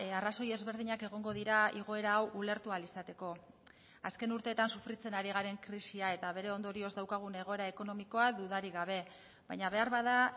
arrazoi ezberdinak egongo dira igoera hau ulertu ahal izateko azken urteetan sufritzen ari garen krisia eta bere ondorioz daukagun egoera ekonomikoa dudarik gabe baina beharbada